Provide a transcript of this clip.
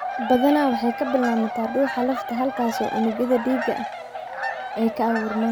Badanaa waxay ka bilaabataa dhuuxa lafta halkaasoo unugyo dhiig ahi ay ka abuurmaan.